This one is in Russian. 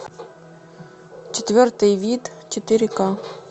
четвертый вид четыре ка